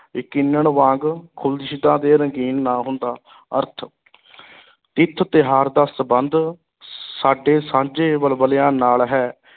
ਯਕੀਨਣ ਵਾਂਗ ਅਤੇ ਰੰਗੀਨ ਨਾ ਹੁੰਦਾ ਅਰਥ ਤਿਥ ਤਿਉਹਾਰ ਦਾ ਸੰਬੰਧ ਸਾਡੇ ਸਾਂਝੇ ਵਲਵਲਿਆਂ ਨਾਲ ਹੈ।